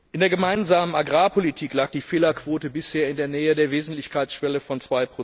In der Gemeinsamen Agrarpolitik lag die Fehlerquote bisher in der Nähe der Wesentlichkeitsschwelle von